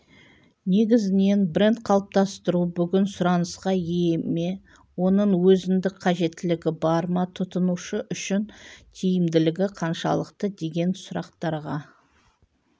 негізінен бренд қалыптастыру бүгін сұранысқа ие ме оның өзіндік қажеттілігі бар ма тұтынушы үшін тиімділігі қаншалықты деген сұрақтарға